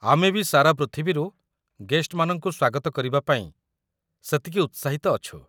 ଆମେ ବି ସାରା ପୃଥିବୀରୁ ଗେଷ୍ଟମାନଙ୍କୁ ସ୍ୱାଗତ କରିବା ପାଇଁ ସେତିକି ଉତ୍ସାହିତ ଅଛୁ ।